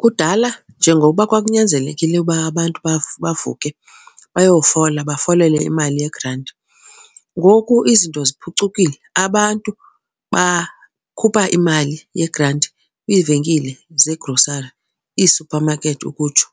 Kudala njengokuba kwakunyanzelekile uba abantu bavuke bayofola, bafolele imali yegranti, ngoku izinto ziphucukile. Abantu bakhupha imali yegranti kwiivenkile zegrosari, iisuphamakethi ukutsho.